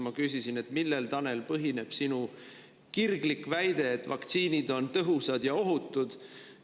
Ma küsisin: "Millel, Tanel, põhineb sinu kirglik väide, et vaktsiinid on tõhusad ja ohutud?